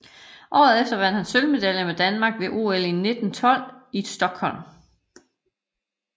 Året efter vandt han sølvmedalje med Danmark ved OL 1912 i Stockholm